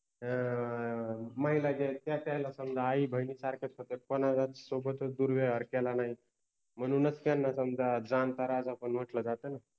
अ अ महिला जर त्याला अ आई बहिणि सारख च होत कोनालाच सोबत दुर्व्यवहार केला नाहि म्हनुनच त्याना समजा जानता राजा पन मटल जात न